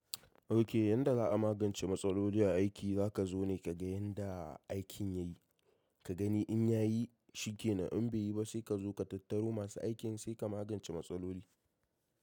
Ok, yadda za a magance matsaloli a aiki, za ka zo ne ka ga yanda aikin ya yi, ka gani in ya yi shi kenan in bai yi ba sai ka zo ka tattaro masu aikin sai ka magance matsalolin.